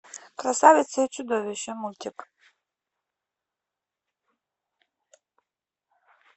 красавица и чудовище мультик